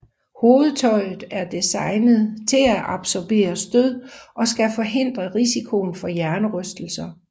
Hovedtøjet er designet til at absorbere stød og skal forhindre risikoen for hjernerystelser